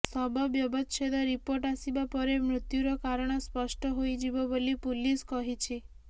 ଶବ ବ୍ୟବଚ୍ଛେଦ ରିପୋର୍ଟ ଆସିବା ପରେ ମୃତ୍ୟୁର କାରଣ ସ୍ପଷ୍ଟ ହୋଇ ଯିବ ବୋଲି ପୁଲିସ କହିଛି